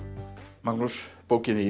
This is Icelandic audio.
Magnús bókin þín